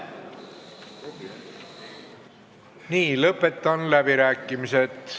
Nii, lõpetan läbirääkimised.